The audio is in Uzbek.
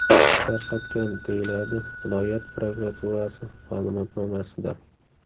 tarqatgan”, deyiladi viloyat prokuraturasi ma’lumotnomasida.